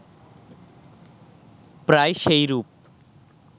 প্রায় সেইরূপ